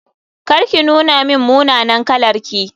Kar ki nuna min munanan kalarki.